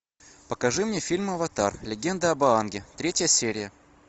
покажи мне фильм аватар легенда об аанге третья серия